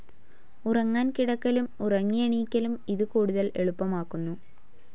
ഉറങ്ങാൻ കിടക്കലും ഉറങ്ങിയെണീക്കലും ഇത് കൂടുതൽ എളുപ്പമാക്കുന്നു.